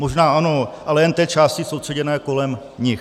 Možná ano, ale jen té části soustředěné kolem nich.